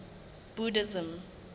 buddhism